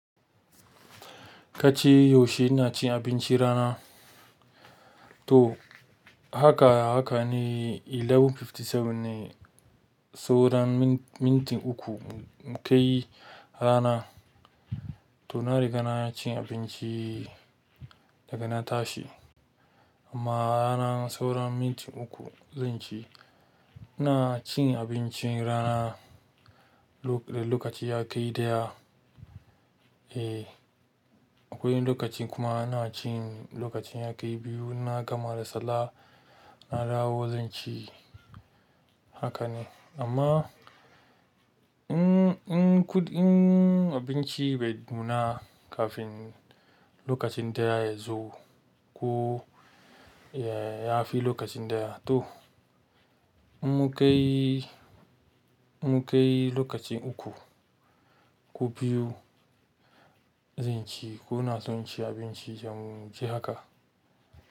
Kace yaushe ina cin abincin rana? To haka, haka ne sha ɗaya hamsin da bakwai ne saura minti uku mu kai rana. To na riga na cin abinci daga na tashi amma rana sauran minti uku zan ci. Ina cin abincin rana da lokaci ya kai ɗaya. Eh, akwai lokaci kuma ina cin lokacin ya kai biyu na gama da sallah na dawo zan ci. Haka ne amma in, in kuɗin abinci bai nuna kafin lokacin ɗaya yazo ko ya fi lokacin ɗaya, to in mu kai, mu kai lokaci uku ko biyu zan ci ko na tsonci abinci jamu mun ci haka.